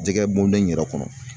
Jɛgɛ bɔndon in yɛrɛ kɔnɔ